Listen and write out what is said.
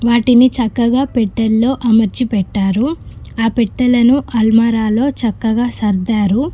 వాటిని చక్కగా పెట్టెలో అమర్చి పెట్టారు ఆ పెట్టెలను అల్మరాలో చక్కగా సర్దారు.